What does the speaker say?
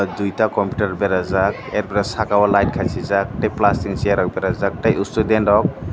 dui ta computer bera jak er pore saka o light khasijak tei plastic ni chair rok bera jak tei student rok.